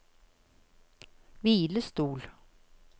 hvilestol